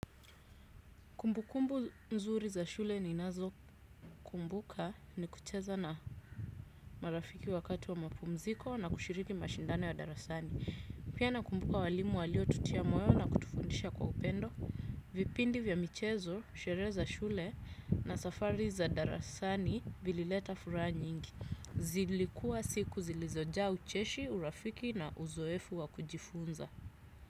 Kumbukumbu mzuri za shule ni nazo kumbuka ni kucheza na marafiki wakati wa mapumziko na kushiriki mashindane wa darasani. Pia nakumbuka walimu walio tutia moyo na kutufundisha kwa upendo. Vipindi vya michezo, shereza shule na safari za darasani vilileta fura nyingi. Zilikua siku zilizoja ucheshi, urafiki na uzoefu wa kujifunza.